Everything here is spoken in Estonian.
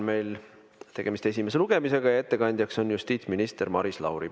Meil on tegemist esimese lugemisega ja ettekandja on justiitsminister Maris Lauri.